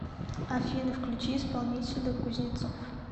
афина включи исполнителя кузнецов